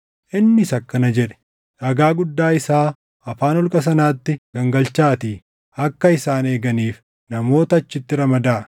innis akkana jedhe; “Dhagaa guddaa isaa afaan holqa sanaatti gangalchaatii akka isaan eeganiif namoota achitti ramadaa.